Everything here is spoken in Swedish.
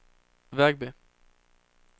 Vegby